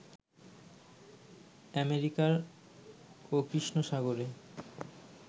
অ্যামেরিকা-ও কৃষ্ণ সাগরে